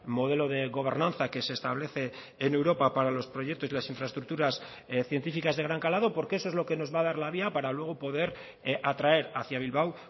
modelo de gobernanza que se establece en europa para los proyectos y las infraestructuras científicas de gran calado porque eso es lo que nos va a dar la vía para luego poder atraer hacia bilbao